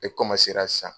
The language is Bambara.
E san